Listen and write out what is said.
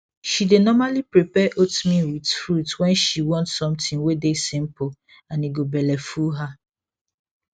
she dae normally prepare oatmeal with fruit when she want something wae dae simple and e go belle full her